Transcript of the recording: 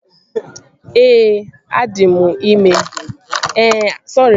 Ee, adị m ime